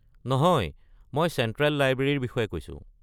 নহয়, মই চেণ্ট্ৰেল লাইব্ৰেৰীৰ বিষয়ে কৈছো।